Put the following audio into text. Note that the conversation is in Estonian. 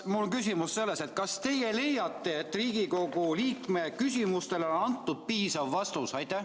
Mul on küsimus: kas teie leiate, et Riigikogu liikme küsimustele on antud piisav vastus?